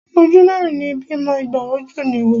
Ojú mẹ́rin ní bímọ, igba ojú ní wò.